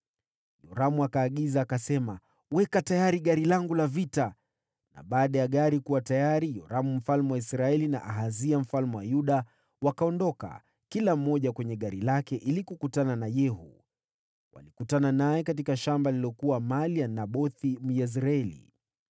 Yoramu akaagiza, akasema, “Weka tayari gari langu la vita.” Na baada ya gari kuwa tayari, Yoramu mfalme wa Israeli, na Ahazia mfalme wa Yuda, wakaondoka kila mmoja kwenye gari lake ili kukutana na Yehu. Walikutana naye katika shamba lililokuwa mali ya Nabothi, Myezreeli.